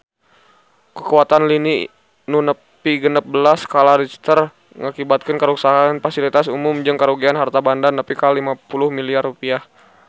Kakuatan lini nu nepi genep belas skala Richter ngakibatkeun karuksakan pasilitas umum jeung karugian harta banda nepi ka 50 miliar rupiah